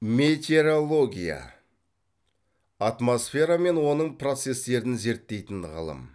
метеорология атмосфера мен оның процестерін зерттейтін ғылым